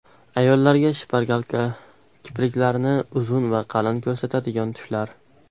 Ayollarga shpargalka: Kipriklarni uzun va qalin ko‘rsatadigan tushlar .